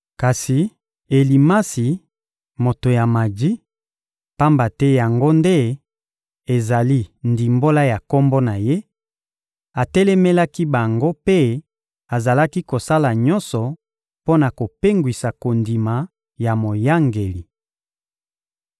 Kasi Elimasi, moto ya maji (pamba te yango nde ezali ndimbola ya kombo na ye), atelemelaki bango mpe azalaki kosala nyonso mpo na kopengwisa kondima ya moyangeli.